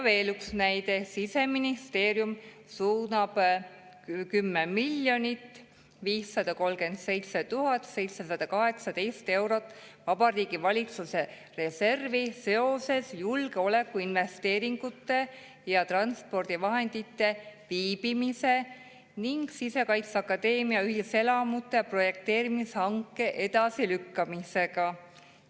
Veel üks näide: Siseministeerium suunab 10 537 718 eurot Vabariigi Valitsuse reservi seoses julgeolekuinvesteeringute ja transpordivahendite viibimise ning Sisekaitseakadeemia ühiselamute projekteerimise hanke edasilükkamisega.